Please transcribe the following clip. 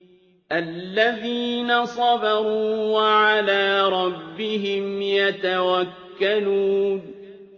الَّذِينَ صَبَرُوا وَعَلَىٰ رَبِّهِمْ يَتَوَكَّلُونَ